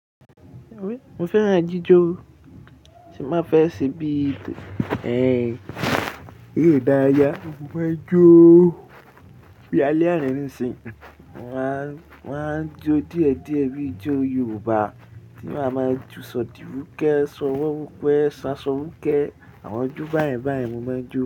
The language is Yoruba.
Mo fẹ́ràn ijó, tí má fẹ́ ṣe bí i tò, ẹ́ nìyí dá ya, mo máa ń jó bí i alẹ́ àná nísinsìnyí, mà á, mà á jó díẹ̀ díẹ̀ bíi ijó Yorùbá tí mà á máa ju Sọ̀dìrúkẹ́, Sọ̀wọ́ púpọ̀, Sanṣòwùkẹ́, àwọn ijó báyẹn báyẹn mo máa ń jó.